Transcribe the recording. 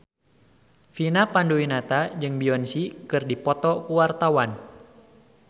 Vina Panduwinata jeung Beyonce keur dipoto ku wartawan